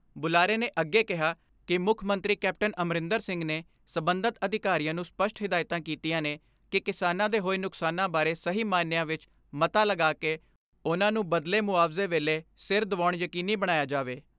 ਬੁਲਾਰੇ ਨੇ ਅੱਗੇ ਕਿਹਾ ਕਿ ਮੁੱਖਮੰਤਰੀ ਕੈਪਟਨ ਅਮਰਿੰਦਰ ਸਿੰਘ ਨੇ ਸਬੰਧਤ ਅਧਿਕਾਰੀਆਂ ਨੂੰ ਸਪਸ਼ਟ ਹਿਦਾਇਤਾਂ ਕੀਤੀਆਂ ਨੇ ਕਿ ਕਿਸਾਨਾਂ ਦੇ ਹੋਏ ਨੁਕਸਾਨਾਂ ਬਾਰੇ ਸਹੀ ਮਾਇਨਿਆਂ ਵਿੱਚ ਮਤਾ ਲਗਾ ਕੇ ਉਨ੍ਹਾਂ ਨੂੰ ਬਦਲੇ ਮੁਆਵਜੇ ਵੇਲੇ ਸਿਰ ਦਵਾਉਣਾ ਯਕੀਨੀ ਬਣਾਇਆ ਜਾਵੇ।